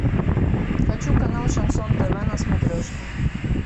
хочу канал шансон тв на смотрешке